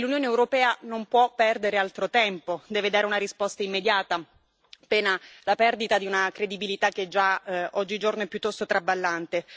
E l'Unione europea non può perdere altro tempo, deve dare una risposta immediata, pena la perdita di una credibilità che già oggigiorno è piuttosto traballante.